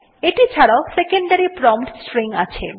এটি ছাড়াও secondary prompt string ও আছে